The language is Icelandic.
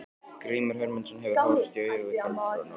Grímur Hermundsson hefur horfst í augu við galdranorn.